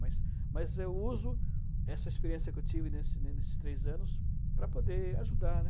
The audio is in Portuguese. Mas mas eu uso essa experiência que eu tive nesses nesses três anos para poder ajudar, né?